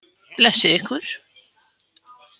Blessi ykkur.